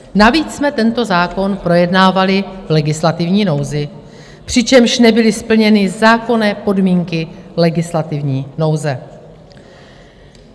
Navíc jsme tento zákon projednávali v legislativní nouzi, přičemž nebyly splněny zákonné podmínky legislativní nouze.